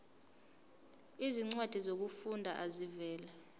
izincwadi zokufunda ezivela